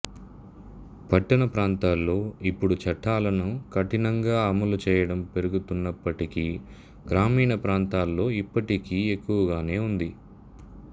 పట్టణ ప్రాంతాల్లో ఇప్పుడు చట్టాలను కఠినంగా అమలు చెయ్యడం పెరుగుతున్నప్పటికీ గ్రామీణ ప్రాంతాల్లో ఇప్పటికీ ఎక్కువగానే ఉంది